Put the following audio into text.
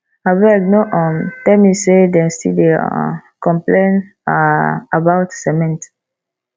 abeg no um tell me say dem still dey um complain um about cement